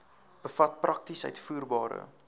bevat prakties uitvoerbare